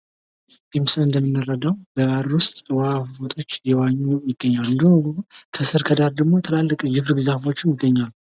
ይህ ምስል እንደምንረዳው በባህር ውስጥ እየዋኙ ይገኛሉ እንዲሁም ደሞ ከስር ከዳር ደሞ የግርብ ዛፎች ይገኛሉ።